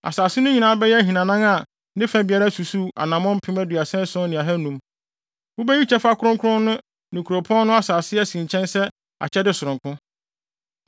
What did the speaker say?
Asase no nyinaa bɛyɛ ahinanan a ne fa biara susuw anammɔn mpem aduasa ason ne ahannum (37,500). Wubeyi kyɛfa kronkron no ne kuropɔn no asase asi nkyɛn sɛ akyɛde sononko.